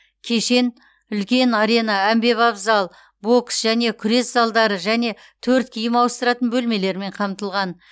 кешен үлкен арена әмбебап зал бокс және күрес залдары және төрт киім ауыстыратын бөлмелермен қамтылған